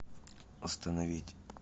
остановить